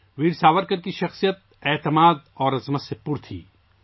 ویر ساورکر کی شخصیت پختگی اور عظمت سے پُر تھی